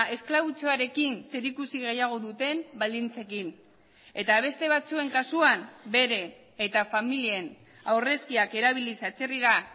esklabutzarekin zerikusi gehiago duten baldintzekin eta beste batzuen kasuan bere eta familien aurrezkiak erabiliz atzerrira